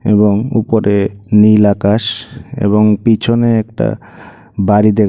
এবং উপরে নীল আকাশ এবং পিছনে একটা বাড়ি দেখ --